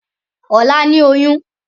Ọ̀la ní oyún.